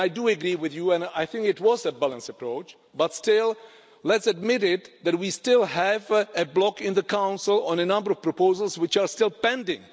I do agree with you and I think it was a balanced approach, but still let's admit that we still have a block in the Council on a number of proposals which are still pending.